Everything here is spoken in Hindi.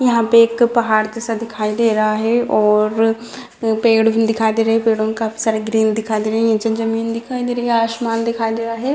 यहाँ पे एक पहाड़ जैसा दिखाई दे रहा है और अ पेड़ दिखाई दे रहे है पेड़ो का काफी सारे ग्रीन दिखाई दे रहे है। नीचे ज़मीन दिखाई दे रहा है। आसमान दिखाई दे रहा है।